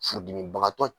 Furudimibagatɔ